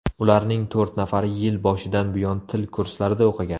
Ularning to‘rt nafari yil boshidan buyon til kurslarida o‘qigan.